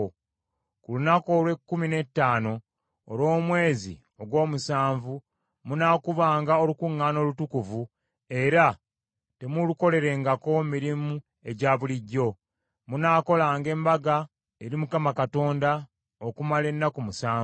“Ku lunaku olw’ekkumi n’ettaano olw’omwezi ogw’omusanvu munaakubanga olukuŋŋaana olutukuvu era temulukolerangako mirimu egya bulijjo. Munaakolanga embaga eri Mukama Katonda okumala ennaku musanvu.